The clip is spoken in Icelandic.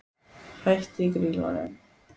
Hætt í Grýlunum?